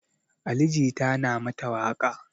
Ali jita na mata waƙa